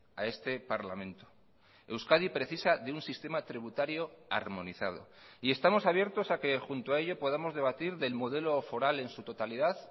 a este parlamento euskadi precisa de un sistema tributario armonizado y estamos abiertos a que junto a ello podamos debatir del modelo foral en su totalidad